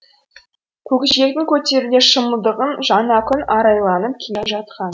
көкжиектің көтеруде шымылдығын жаңа күн арайланып келе жатқан